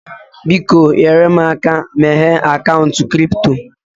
Biko, nyere m aka meghee akaụntụ kripto